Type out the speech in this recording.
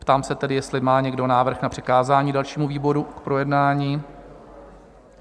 Ptám se tedy, jestli má někdo návrh na přikázání dalšímu výboru k projednání?